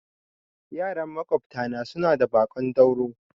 Yaran maƙwabta na suna da baƙon dauro